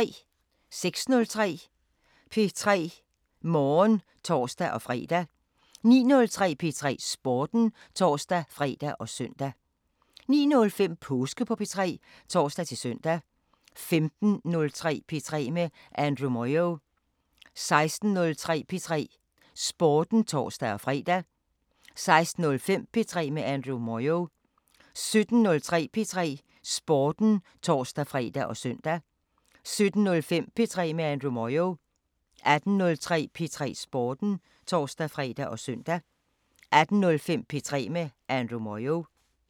06:03: P3 Morgen (tor-fre) 09:03: P3 Sporten (tor-fre og søn) 09:05: Påske på P3 (tor-søn) 15:03: P3 med Andrew Moyo 16:03: P3 Sporten (tor-fre) 16:05: P3 med Andrew Moyo 17:03: P3 Sporten (tor-fre og søn) 17:05: P3 med Andrew Moyo 18:03: P3 Sporten (tor-fre og søn) 18:05: P3 med Andrew Moyo